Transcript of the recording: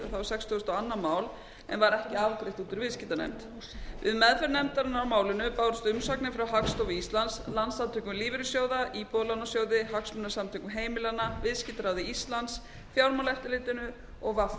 var sextugustu og önnur mál en var ekki afgreitt út úr viðskiptanefnd við meðferð nefndarinnar á málinu bárust umsagnir frá hagstofu íslands landssamtökum lífeyrissjóða íbúðalánasjóði hagsmunasamtökum heimilanna viðskiptaráði íslands fjármálaeftirlitinu og vr